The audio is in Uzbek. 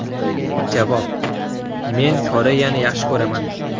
Javob: Men Koreyani yaxshi ko‘raman.